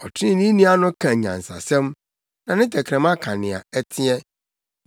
Ɔtreneeni ano ka nyansasɛm, na ne tɛkrɛma ka nea ɛteɛ.